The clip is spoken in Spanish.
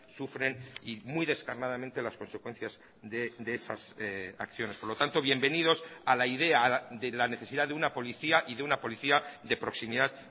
sufren y muy descarnadamente las consecuencias de esas acciones por lo tanto bienvenidos a la idea de la necesidad de una policía y de una policía de proximidad